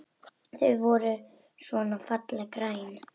Þau voru svona fallega græn!